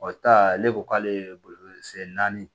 O ta ale ko k'ale ye bolo sen naani